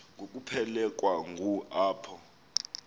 ngokuphelekwa ngu apho